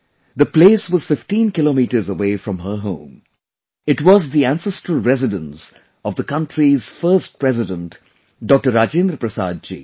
The place was 15 kilometers away from her home it was the ancestral residence of the country's first President Dr Rajendra Prasad ji